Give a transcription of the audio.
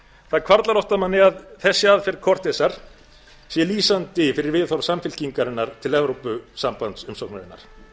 það hvarflar oft að manni að þessi aðferð cortezar sé lýsandi fyrir viðhorf samfylkingarinnar til evrópusambandsumsóknarinnar